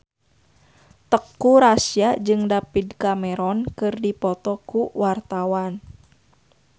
Teuku Rassya jeung David Cameron keur dipoto ku wartawan